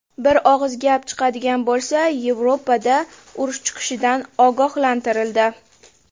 Bir og‘iz gap chiqadigan bo‘lsa, Yevropada urush chiqishidan ogohlantirildi.